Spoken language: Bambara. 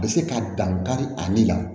A bɛ se ka dan kari ale la